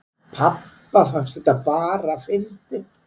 Pabba fannst þetta bara fyndið